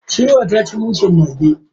Shirwan ta ci mushen mage.